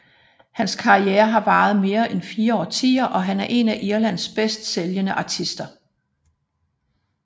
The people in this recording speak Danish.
Hans karriere har varet mere end fire årtier og han er en af Irlands bedst sælgende artister